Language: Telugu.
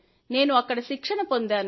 నేను అక్కడ శిక్షణ పొందాను